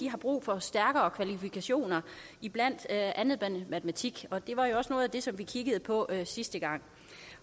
har brug for stærkere kvalifikationer i blandt andet matematik det var jo også noget af det som vi kiggede på sidste gang